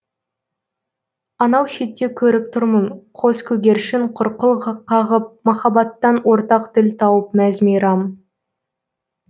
анау шетте көріп тұрмын қос көгершін құрқыл қағып махаббаттан ортақ тіл тауып мәз мейрам